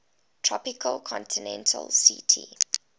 tropical continental ct